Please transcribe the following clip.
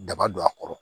Daba don a kɔrɔ